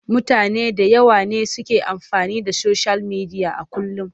Mutane da yawa ne suke amfani da soshiyal midiya a kullum.